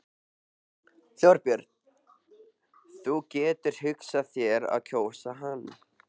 Þorbjörn: Þú getur hugsað þér að kjósa hann?